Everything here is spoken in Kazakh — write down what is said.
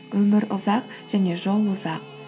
өмір ұзақ және жол ұзақ